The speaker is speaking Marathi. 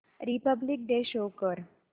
रिपब्लिक डे शो कर